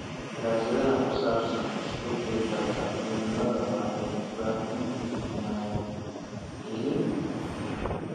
Daraasadaha ku saabsan isbeddelka cimilada waxay u baahan yihiin maalgelin ku filan.